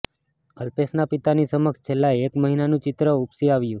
અલ્પેશના પિતાની સમક્ષ છેલ્લા એક મહિનાનું ચિત્ર ઉપસી આવ્યું